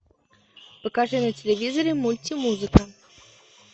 покажи на телевизоре мультимузыка